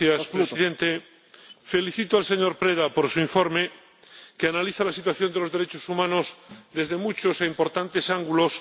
Señor Presidente, felicito al señor Preda por su informe, que analiza la situación de los derechos humanos desde muchos e importantes ángulos